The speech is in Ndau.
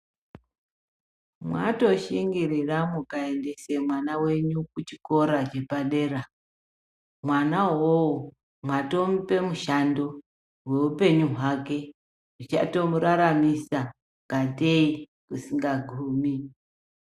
Mwatoshingirira mukaendesa mwana wenyu kuchikora chepadera mwana uyoyo mwatomupa mushando weupenyu hwake zvichatomuraramisa katei kusingagumi.